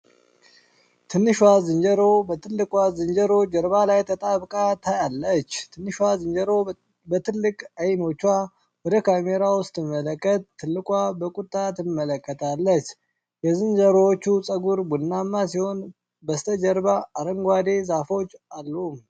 ትንሿ ዝንጀሮ በትልቋ ዝንጀሮ ጀርባ ላይ ተጣብቃ ታያለች። ትንሿ ዝንጀሮ በትልቅ ዓይኖቿ ወደ ካሜራው ስትመለከት፣ ትልቋ በቁጣ ትመለከታለች። የዝንጀሮዎቹ ፀጉር ቡናማ ሲሆን በስተጀርባ አረንጓዴ ዛፎች አሉ።